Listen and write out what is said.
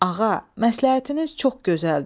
Ağa, məsləhətiniz çox gözəldir.